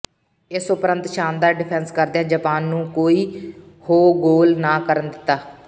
ਇਸ ਉਪਰੰਤ ਸ਼ਾਨਦਾਰ ਡਿਫੈਂਸ ਕਰਦਿਆਂ ਜਪਾਨ ਨੂੰ ਕੋਈ ਹੋ ਗੋਲ ਨਾ ਕਰਨ ਦਿੱਤਾ